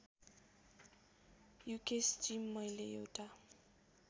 युकेशजी मैले एउटा